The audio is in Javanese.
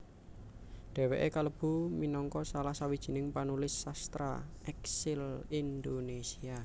Dhèwèké kalebu minangka salah sawijining panulis sastra èksil Indonésia